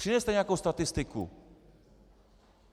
Přineste nějakou statistiku.